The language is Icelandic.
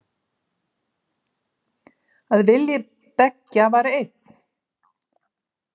Að vilji beggja var einn.